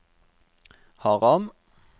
Haram